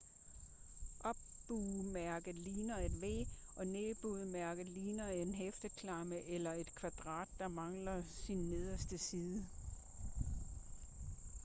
"op-bue"-mærket ligner et v og ned-bue-mærket ligner en hæfteklamme eller et kvadrat der mangler sin nederste side